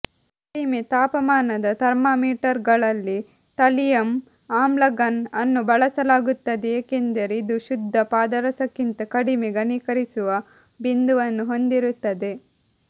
ಕಡಿಮೆ ತಾಪಮಾನದ ಥರ್ಮಾಮೀಟರ್ಗಳಲ್ಲಿ ಥಲಿಯಂ ಆಮ್ಲಗಮ್ ಅನ್ನು ಬಳಸಲಾಗುತ್ತದೆ ಏಕೆಂದರೆ ಇದು ಶುದ್ಧ ಪಾದರಸಕ್ಕಿಂತ ಕಡಿಮೆ ಘನೀಕರಿಸುವ ಬಿಂದುವನ್ನು ಹೊಂದಿರುತ್ತದೆ